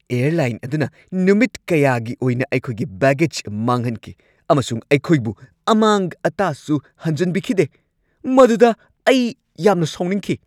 Airline ꯑꯗꯨꯅ ꯅꯨꯃꯤꯠ ꯀꯌꯥꯒꯤ ꯑꯣꯏꯅ ꯑꯩꯈꯣꯏꯒꯤ ꯕꯦꯒꯦꯖ ꯃꯥꯡꯍꯟꯈꯤ ꯑꯃꯁꯨꯡ ꯑꯩꯈꯣꯏꯕꯨ ꯑꯃꯥꯡ-ꯑꯇꯥꯁꯨ ꯍꯟꯖꯟꯕꯤꯈꯤꯗꯦ, ꯃꯗꯨꯗ ꯑꯩ ꯌꯥꯝꯅ ꯁꯥꯎꯅꯤꯡꯈꯤ꯫